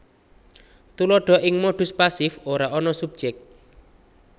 Tuladha Ing modus pasif ora ana subjèk